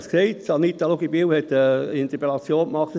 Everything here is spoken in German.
Ich habe es gesagt, Anita Luginbühl hat eine Interpellation gemacht: